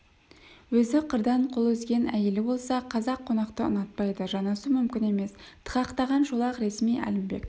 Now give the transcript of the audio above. өзі қырдан қол үзген әйелі болса қазақ қонақты ұнатпайды жанасу мүмкін емес тықақтаған шолақ ресми әлімбек